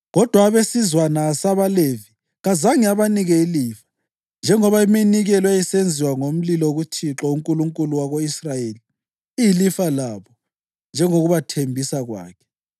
Kodwa abesizwana sabaLevi kazange abanike ilifa, njengoba iminikelo eyayisenziwa ngomlilo kuThixo, uNkulunkulu wako-Israyeli iyilifa labo njengokubathembisa kwakhe.